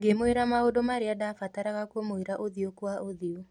Ngĩmwĩra maũndũ marĩa ndabataraga kũmwĩra ũthiũ kwa ũthiũ".